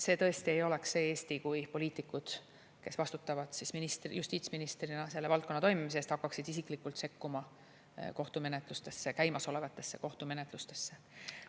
See tõesti ei oleks see Eesti, kui poliitikud, kes vastutavad justiitsministrina selle valdkonna toimimise eest, hakkaksid isiklikult sekkuma kohtumenetlustesse, käimasolevatesse kohtumenetlustesse.